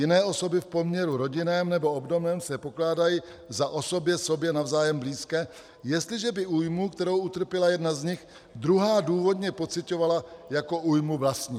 Jiné osoby v poměru rodinném nebo obdobném se pokládají za osoby sobě navzájem blízké, jestliže by újmu, kterou utrpěla jedna z nich, druhá důvodně pociťovala jako újmu vlastní.